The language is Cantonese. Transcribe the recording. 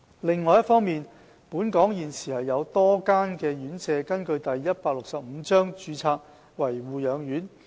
另一方面，本港現時有多家院舍根據第165章註冊為護養院。